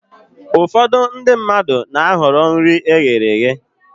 Ụfọdụ ndị mmadụ na-ahọrọ nri eghere eghe